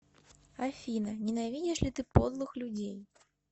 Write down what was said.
афина ненавидишь ли ты подлых людей